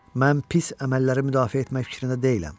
Mən pis əməlləri müdafiə etmək fikrində deyiləm.